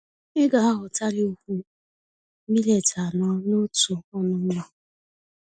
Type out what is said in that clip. Ịgaaghọtali úkwú millet anọ n'otu ọnụ mmá